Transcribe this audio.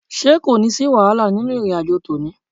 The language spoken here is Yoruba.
Ṣé kò ní sí wàhálà nínú ìrìn àjò tòní?